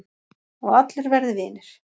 Og allir verði vinir